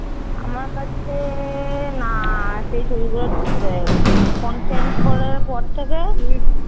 আমার কাছে না সেই ছবিগুলো delete হয়ে গেছে। ফোন change করার পর থেকে